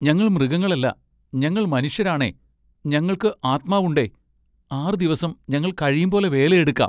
ഞങ്ങൾ മൃഗങ്ങളല്ല! ഞങ്ങൾ ന്മനുഷ്യരാണെ ഞങ്ങൾക്കു ആത്മാവുണ്ടെ ആറു ദിവസം ഞങ്ങൾ കഴിയുംപോലെ വേലയെടുക്കാം.